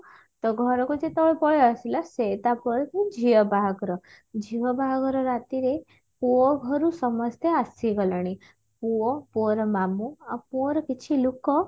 ତ ଘରକୁ ଯେତେବେଳେ ପଳେଇଆସିଲା ସେ ତାପରଦିନ ଝିଅ ବାହାଘର ଝିଅ ବାହାଘର ରାତିରେ ପୁଅ ଘରୁ ସମସ୍ତେ ଆସିଗଲେଣି ପୁଅ ପୁଅର ମାମୁଁ ଆଉ ପୁଅର କିଛି ଲୁକ